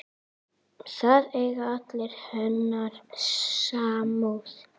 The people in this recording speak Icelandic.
Það eigi alla hennar samúð.